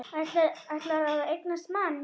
Ætlar að eignast mann.